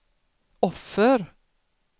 offer